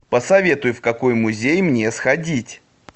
посоветуй в какой музей мне сходить